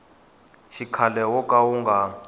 xikhale wo ka wu nga